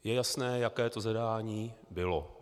Je jasné, jaké to zadání bylo.